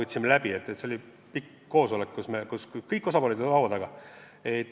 See oli pikk koosolek, kus kõik osapooled olid laua taga.